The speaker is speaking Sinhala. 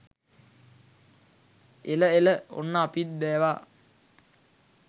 එල එල.ඔන්න අපිත් බැවා